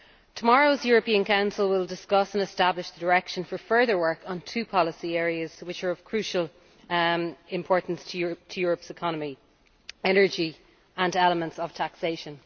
Tomorrow's European Council will discuss and establish the direction for further work on two policy areas which are of crucial importance to Europe's economy energy and elements of taxation.